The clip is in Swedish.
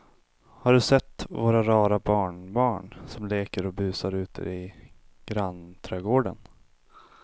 Har du sett våra rara barnbarn som leker och busar ute i grannträdgården!